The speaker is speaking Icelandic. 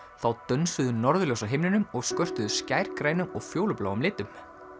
þá dönsuðu norðurljós á himninum og skörtuðu og fjólubláum litum